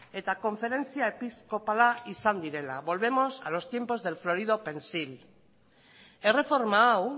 eta konferentzia episkopala izan direla volvemos a los tiempos del florido pensil erreforma hau